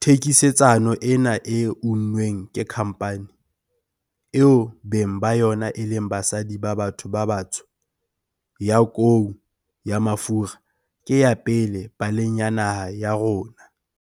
thekisetsano ena e unnweng ke khampani, eo beng ba yona e leng basadi ba batho ba batsho, ya kou ya mafura ke ya pele paleng ya naha ya rona.